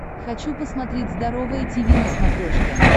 хочу посмотреть здоровое тиви на смотрешке